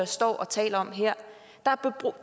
står og taler om den her der